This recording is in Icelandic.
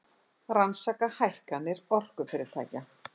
Rannsaka hækkanir orkufyrirtækja